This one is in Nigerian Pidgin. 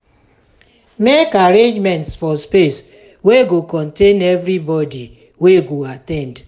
make arrangements for space wey go contain everyboby wey go at ten d